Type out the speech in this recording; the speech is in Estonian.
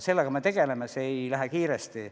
Sellega me tegeleme, aga see ei lähe kiiresti.